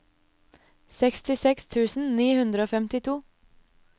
sekstiseks tusen ni hundre og femtito